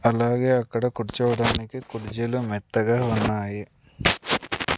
అలాగే అక్కడ కూర్చోవడానికి కుర్జీలు మెత్తగా ఉన్నాయి.